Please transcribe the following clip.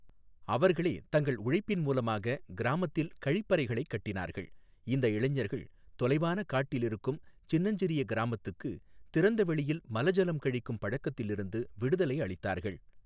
அவர்களே தங்கள் உழைப்பின் மூலமாக கிராமத்தில் கழிப்பறைகளைக் கட்டினார்கள், இந்த இளைஞர்கள் தொலைவான காட்டில் இருக்கும் சின்னஞ்சிறிய கிராமத்துக்கு திறந்த வெளியில் மலஜலம் கழிக்கும் பழக்கத்திலிருந்து விடுதலை அளித்தார்கள்.